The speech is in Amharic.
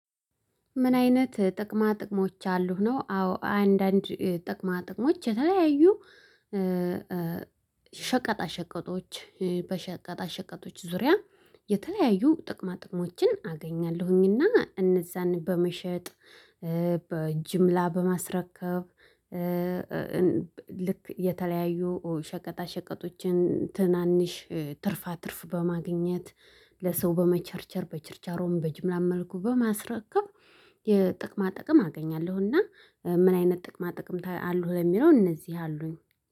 ምን አይነት ጥቅማ ጥቅሞች አሉህ? ነው አዎ አንዳንድ ጥቅማ ጥቅሞች የተለያዩ ሸቀጣ ሸቀጦች በሸቀጣ ሸቀጦች ዙሪያ የተለያዩ ጥቅማ ጥቅሞችን አገኛለሁኝና እነዛን በመሸጥ በጅምላ በማስረከብ። ልክ የተለያዩ ሸቀጣ ሸቀጦችን ትናንሽ ትርፋ ትርፍ በማግኘት ለሰው በመቸርቸር በችርቻሮም በጅምላም መልኩ በማስረከብ የጥቅማ ጥቅም አገኛለሁ። እና ምን አይነት ጥቅማ ጥቅም አሉህ? ለሚለው እነዚህ አሉኝ